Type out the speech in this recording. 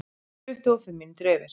Tuttugu og fimm mínútur yfir